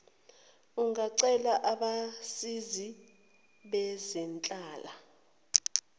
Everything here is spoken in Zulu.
ungacela abasizi bezenhlala